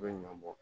U bɛ ɲɔn bɔ